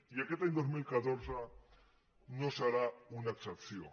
i aquest any dos mil catorze no serà una excepció